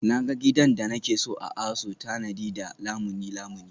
Na ga gidan da nake so a ASO tanadi da Lamuni Lamuni